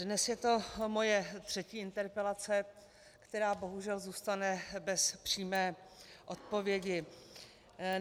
Dnes je to moje třetí interpelace, která bohužel zůstane bez přímé odpovědi.